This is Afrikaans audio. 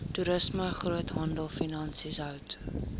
toerisme groothandelfinansies hout